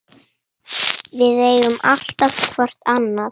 Við eigum alltaf hvort annað.